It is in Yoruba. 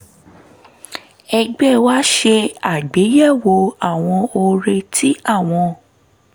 ẹgbẹ́ wa ṣe àgbéyẹ̀wò àwọn ọrẹ tí àwọn